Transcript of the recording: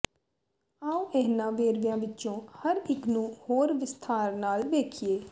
ਆਉ ਇਹਨਾਂ ਵੇਰਵਿਆਂ ਵਿੱਚੋਂ ਹਰ ਇੱਕ ਨੂੰ ਹੋਰ ਵਿਸਥਾਰ ਨਾਲ ਵੇਖੀਏ